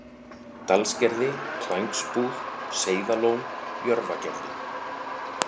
Dalsgerði, Klængsbúð, Seiðalón, Jörfagerði